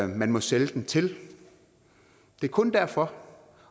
man må sælge til det er kun derfor